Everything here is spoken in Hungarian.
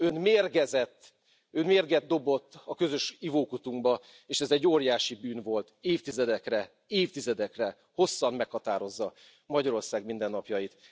Ön mérgezett, Ön mérget dobott a közös ivókutunkba, és ez egy óriási bűn volt, évtizedekre, hosszan meghatározza Magyarország mindennapjait.